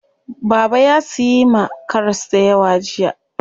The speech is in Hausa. Baba ya siyi ma karas dayawa jiya.